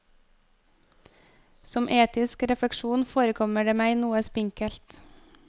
Som etisk refleksjon forekommer det meg noe spinkelt.